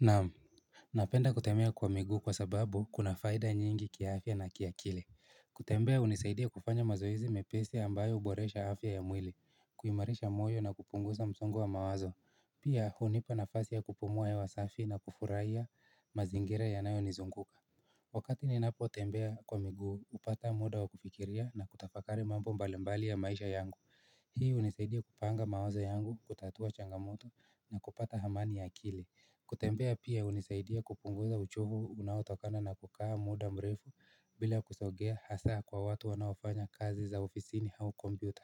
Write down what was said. Naam, napenda kutambea kwa miguu kwa sababu kuna faida nyingi kiafya na kiakili. Kutembea hunisaidia kufanya mazoezi mepesi ambayo huboresha afya ya mwili, kuimarisha moyo na kupunguza msongo wa mawazo. Pia hunipa nafasi ya kupumua hewa safi na kufurahia mazingira yanayo nizunguka. Wakati ni napo tembea kwa miguu hupata muda wa kufikiria na kutafakari mambo mbalimbali ya maisha yangu. Hii hunisaidia kupanga mawazo yangu, kutatua changamoto na kupata amani ya akili. Kutembea pia hunisaidia kupunguza uchovu unao tokana na kukaa muda mrefu bila kusogea hasa kwa watu wanaofanya kazi za ofisini au kompyuta.